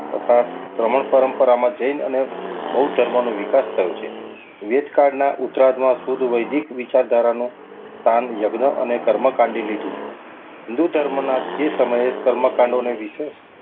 તથા સમાન પરંપરામાં જૈન અને બૌદ્ધ ધર્મનો વિકાસ થાય છે. વેદકાળના ઉતરાદમાં શુદ્ધ વૈદિક વિચારો ધારાનો સ્થાન યજ્ઞને કર્મકાંડી લીધું છે. હિન્દુ ધર્મના જે સમયે કર્મકાંડવોને વિશેષ,